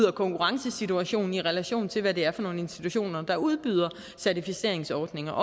og konkurrencesituation i relation til hvad det er for nogle institutioner der udbyder certificeringsordninger